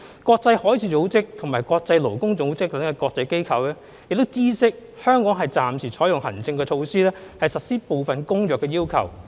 國際海事組織及國際勞工組織等國際組織已知悉香港暫時採用行政措施實施部分《公約》的要求。